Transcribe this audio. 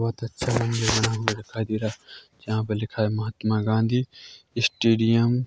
बहुत अच्छा दिखाई दे रहा है जहां पे लिखा है महात्मा गांधी स्टेडियम --